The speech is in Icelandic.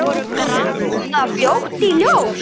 Kom það fljótt í ljós?